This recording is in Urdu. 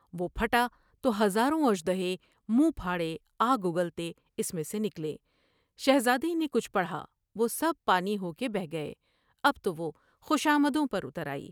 وہ پھٹا تو ہزاروں اثر د ہے منہ پھاڑے آگ اگلتے اس میں سے نکلے ۔شہزادے نے کچھ پڑھا ، وہ سب پانی ہو کے بہہ گئے ۔اب تو وہ خوشامدوں پر اتر آئی ۔